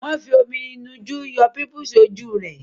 Wòn fi omi ìnu jú yọ pímúpisi rẹ